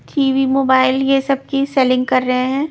TV mobile यह सब की सेलिंग कर रहे हैं.